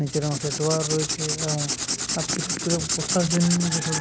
নিচের অংশে ড্রয়ার রয়েছে এবং বসার জন্য যেসব